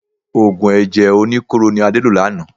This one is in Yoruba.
Òògùn ẹ̀jẹ̀ oníkóró ni Ade lò lánàá.